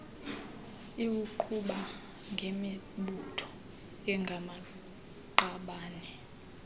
iwuqhuba ngemibutho engamaqabane